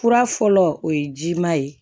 Fura fɔlɔ o ye jima ye